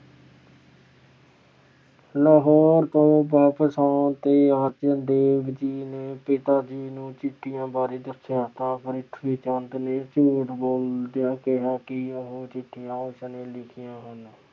ਲਾਹੌਰ ਤੋਂ ਵਾਪਸ ਆਉਣ ਤੇ ਅਰਜਨ ਦੇਵ ਜੀ ਨੇ ਪਿਤਾ ਜੀ ਨੂੰ ਚਿੱਠੀਆਂ ਬਾਰੇ ਦੱਸਿਆ ਤਾਂ ਪ੍ਰਿਥਵੀ ਚੰਦ ਨੇ ਝੂਠ ਬੋਲਦਿਆਂ ਕਿਹਾ ਕਿ ਉਹ ਚਿੱਠੀਆਂ ਉਸ ਨੇ ਲਿਖੀਆਂ ਹਨ।